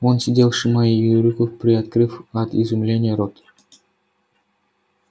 он сидел сжимая её руку приоткрыв от изумления рот